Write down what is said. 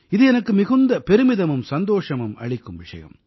இது எனக்கு மிகுந்த பெருமிதமும் சந்தோஷமும் அளிக்கும் விஷயம்